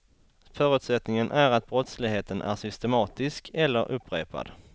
Förutsättningen är att brottsligheten är systematisk eller upprepad.